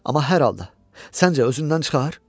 Amma hər halda, səncə, özündən çıxar?